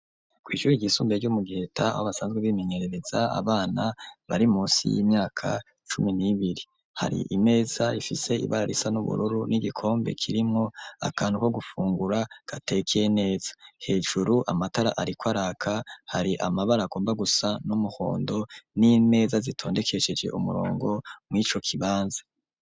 Kw’ishure ryisumbuye ryo mu giheta aho a basanzwe bimenyerereza abana bari musi y'imyaka cumi n'ibiri ,hari imeza ifise ibara risa n'ubururu ,n'igikombe kirimwo akantu ko gufungura gatekeye neza ,hejuru amatara ariko araka hari amabara agomba gusa n'umuhondo ,n'imeza zitondekesheje umurongo mw’ico kibanza.